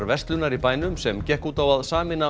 verslunar í bænum sem gekk út á að sameina